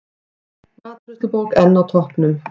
Matreiðslubók enn á toppnum